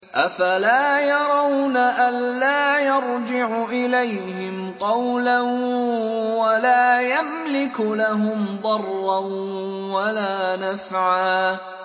أَفَلَا يَرَوْنَ أَلَّا يَرْجِعُ إِلَيْهِمْ قَوْلًا وَلَا يَمْلِكُ لَهُمْ ضَرًّا وَلَا نَفْعًا